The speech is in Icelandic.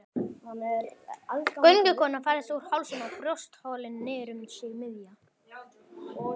Göngukonan færðist úr hálsinum og brjóstholinu niður um sig miðja.